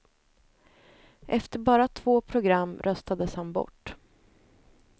Efter bara två program röstades han bort.